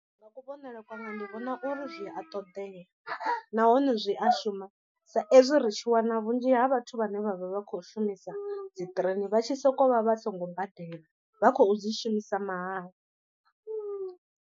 Nga kuvhonele kwanga ndi vhona uri zwi a ṱoḓea nahone zwi a shuma sa ezwi ri tshi wana vhunzhi ha vhathu vhane vha vha vha khou shumisa dzi train vha tshi sokou vha vha songo badela vha khou dzi shumisa mahala.